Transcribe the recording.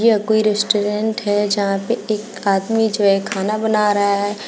यह कोई रेस्टोरेंट है जहां पे एक आदमी जो है खाना बना रहा है।